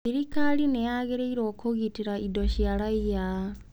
Thirikari nĩ yagĩrĩirũo kũgitĩra indo cia raiya.